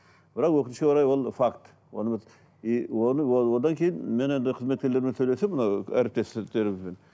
бірақ өкінішке орай ол факт оны біз и оны ол одан кейін мен енді қызметкерлерімен сөйлестім мынау әріптестерімізбен